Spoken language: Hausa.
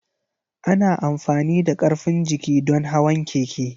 Ana amfani da karfin jiki don hawan keke.